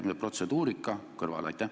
Jätame protseduurika kõrvale.